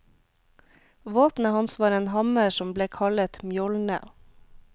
Våpenet hans var en hammer som ble kallet mjolne.